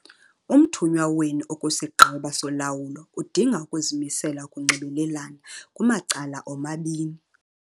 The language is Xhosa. Umthunywa wenu okwisiGqeba soLawulo udinga ukuzimisela UKUNXIBELELANA - KUMACALA OMABINI!